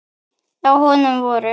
Á honum voru